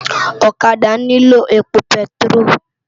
Òkàdá niló épó pètiró